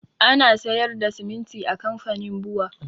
Ana sayar da siminti a kamfanin bua